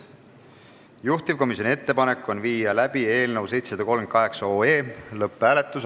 Juhtivkomisjoni ettepanek on viia läbi eelnõu 738 OE lõpphääletus.